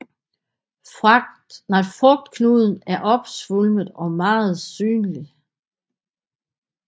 Frugtknuden er opsvulmet og meget synlig